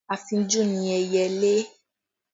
Afínjú ni ẹyẹlé